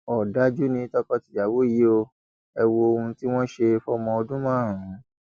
ọdájú ni tọkọtìyàwó yìí ò ẹ wo ohun tí wọn ṣe fọmọ ọdún márùn